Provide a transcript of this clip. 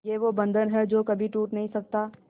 ये वो बंधन है जो कभी टूट नही सकता